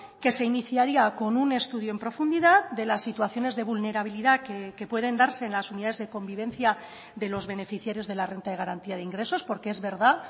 que se iniciaría con un estudio en profundidad de las situaciones de vulnerabilidad que pueden darse en las unidades de convivencia de los beneficiarios de la renta de garantía de ingresos porque es verdad